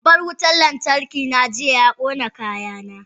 Babban wutar lantarki na jiya ya kona kayana.